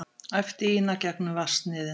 æpti Ína gegnum vatnsniðinn.